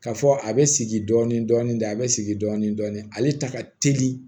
Ka fɔ a be sigi dɔɔnin dɔɔnin ten a be sigi dɔɔnin dɔɔnin ale ta ka teli